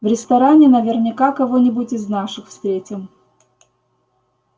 в ресторане наверняка кого нибудь из наших встретим